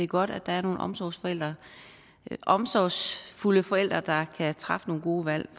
godt at der er nogle omsorgsfulde omsorgsfulde forældre der kan træffe nogle gode valg